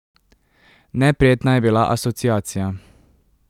Neprijetna je bila asociacija.